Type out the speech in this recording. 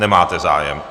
Nemáte zájem.